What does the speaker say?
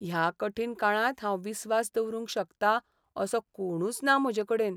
ह्या कठीण काळांत हांव विस्वास दवरूंक शकतां असो कोणूच ना म्हजेकडेन.